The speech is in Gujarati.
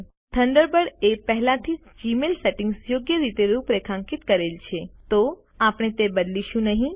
થન્ડરબર્ડએ પહેલાથી જ જીમેઈલ સેટિંગ્સ યોગ્ય રીતે રૂપરેખાંકિત કરેલ છે તો આપણે તે બદલીશું નહિં